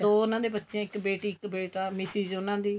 ਦੋ ਉਹਨਾ ਦੇ ਬੱਚੇ ਇੱਕ ਬੇਟੀ ਇੱਕ ਬੇਟਾ ਮਿਸਿਜ ਉਹਨਾ ਦੀ